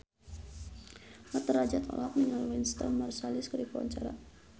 Mat Drajat olohok ningali Wynton Marsalis keur diwawancara